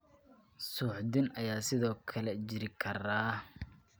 Suuxdin ayaa sidoo kale jiri kara.